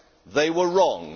They were wrong.